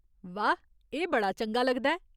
वाह् ... एह् बड़ा चंगा लगदा ऐ !